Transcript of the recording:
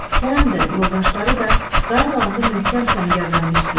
Kərəm də, yoldaşları da qaya dalında möhkəm səngərlənmişdilər.